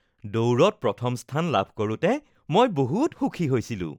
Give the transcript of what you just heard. দৌৰত প্ৰথম স্থান লাভ কৰোতে মই বহুত সুখী হৈছিলো।